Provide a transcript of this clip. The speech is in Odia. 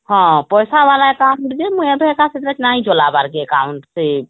ପଇସା ଵାଲା account ଯେମୁଇଁ ସେଟା ଏତେ ନାଇଁ ଚଳବାର ସେ account କେ